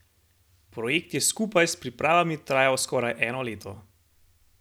Projekt je skupaj s pripravami trajal skoraj eno leto.